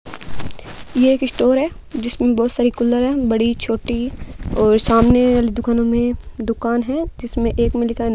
यह एक स्टोर है जिसमें बहुत सारी कूलर है बड़ी छोटी और सामने वाली दुकानों में दुकान है जिसमें एक मे लिखा है --